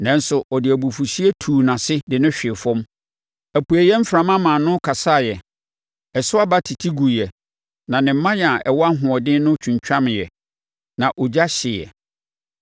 Nanso wɔde abufuhyeɛ tuu nʼase de no hwee fam. Apueeɛ mframa maa no kasaeɛ, ɛso aba tete guiɛ; na ne mman a ɛwɔ ahoɔden no twintwameeɛ na ogya hyeeɛ.